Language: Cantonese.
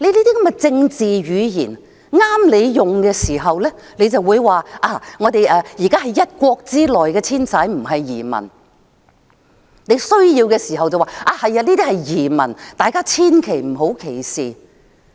這些政治語言，合用的時候，便說單程證申請人是在一國之內遷徙，不是移民；有需要的時候，便說這些人是移民，大家千萬不要歧視他們。